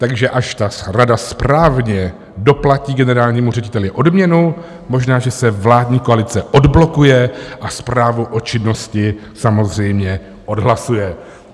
Takže až ta rada správně doplatí generálnímu řediteli odměnu, možná, že se vládní koalice odblokuje a zprávu o činnosti samozřejmě odhlasuje.